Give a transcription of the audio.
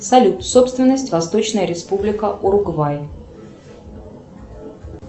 салют собственность восточная республика уругвай